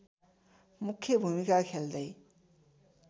मुख्य भूमिका खेल्दै